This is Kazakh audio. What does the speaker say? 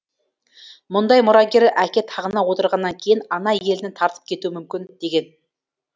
мұндай мұрагер әке тағына отырғаннан кейін ана еліне тартып кетуі мүмкін деген